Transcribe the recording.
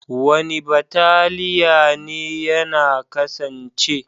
Wani bataliya ne yana kasance?